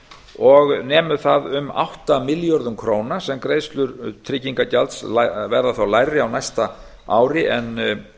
og nemur það um átta milljörðum króna sem greiðslur tryggingagjalds verða þá lægri á næsta ári en